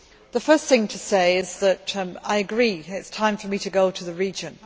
The first thing to say is that I agree that it is time for me to go to the region.